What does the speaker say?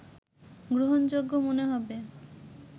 গ্রহণযোগ্য মনে হবে